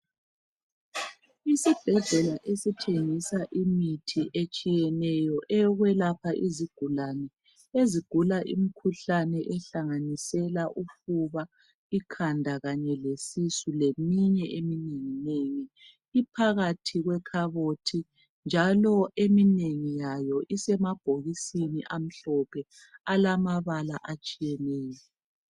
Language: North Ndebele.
Isibhedlela esithengisa imithi etshiyeneyo eyokwelapha izigulane ezigula imkhuhlane ehlanganisela ufuba, ikhanda Kanye lesisu leminye eminenginengi iphakathi kwekhabothi njalo eminengi yayo isemabhokisini amhlophe alamabala atshiyeneyo.